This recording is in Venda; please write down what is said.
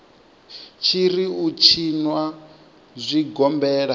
tshi ri u tshinwa zwigombela